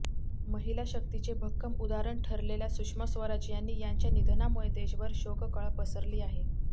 महिला शक्तीचे भक्कम उदाहरण ठरलेल्या सुषमा स्वराज यांनी यांच्या निधनामुळे देशभर शोककळा पसरली आहे